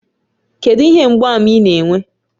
Kedu ihe mgbaàmà ị na-enwe?